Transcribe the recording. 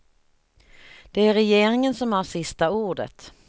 Det är regeringen som har sista ordet.